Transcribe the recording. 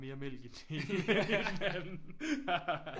Mere mælk i den ene end i den anden